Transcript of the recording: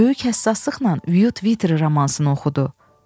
Böyük həssaslıqla "Vyu Tvitteri" romasını oxudu.